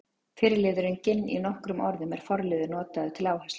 Fyrri liðurinn ginn- í nokkrum orðum er forliður notaður til áherslu.